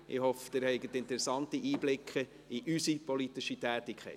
Ich hoffe, Sie haben interessante Einblicke in politische Tätigkeit.